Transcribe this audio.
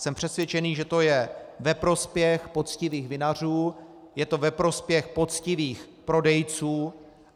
Jsem přesvědčen, že je to ve prospěch poctivých vinařů, je to ve prospěch poctivých prodejců.